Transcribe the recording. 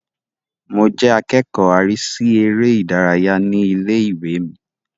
Mo jẹ́ akẹ́kọ̀ọ́ arísí eré ìdárayá ní ilé-ìwé mi